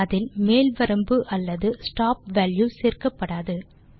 அதில் மேல் வரம்பு அல்லது ஸ்டாப் வால்யூ சேர்க்கப்படாது